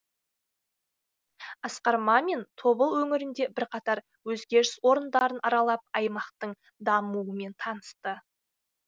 асқар мамин тобыл өңірінде бірқатар өзгеріс орындарын аралап аймақтың дамуымен танысты